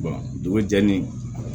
dugu jɛlen